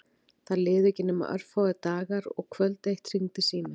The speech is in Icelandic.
Það liðu ekki nema örfáir dagar og kvöld eitt hringdi síminn.